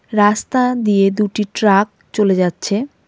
রাস্তা দিয়ে দুটি ট্রাক চলে যাচ্ছে.